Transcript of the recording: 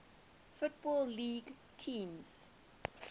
football league teams